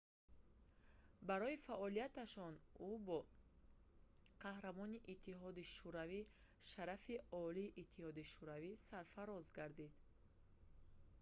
барои фаъолиятиаш ӯ бо қаҳрамони иттиҳоди шӯравӣ шарафи олии иттиҳоди шӯравӣ сарфароз гардид